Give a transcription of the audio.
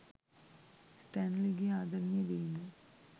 ස්ටැන්ලිගේ ආදරණීය බිරිඳ